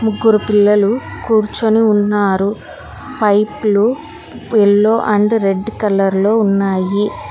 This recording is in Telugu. ముగ్గురు పిల్లలు కూర్చుని ఉన్నారు పైపులు ఎల్లో అండ్ రెడ్ కలర్ లో ఉన్నాయి.